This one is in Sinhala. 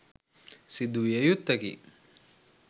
සිදු විය යුත්තකි